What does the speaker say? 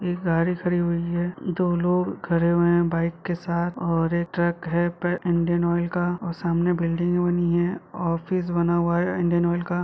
एक गाड़ी खड़ी हुई है दो लोग खड़े हुए है बाइक के साथ और एक ट्रक है इंडियन ओइल का और सामने बिल्डिंग बनी है और ऑफिस बना हुआ है इन्डियन ऑइल का।